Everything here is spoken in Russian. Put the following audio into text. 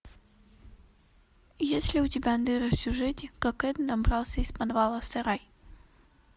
есть ли у тебя дыры в сюжете как эд добрался из подвала в сарай